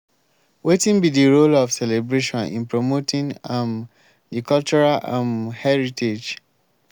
wetin be di role of celebration in promoting um di cultural um heritage?